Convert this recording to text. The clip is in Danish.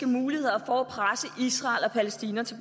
muligheder for at presse israel og palæstina til